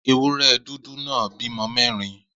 Ewúré̩ dúdú náà bímo̩ mé̩rin